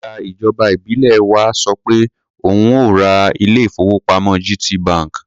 Alága ìjọba ìbílẹ̀ wa sọ pé òun ó ò ra ilé-ìfowópamọ́ GTB.